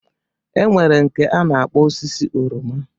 E nwere nke a na-akpọ osisi oroma.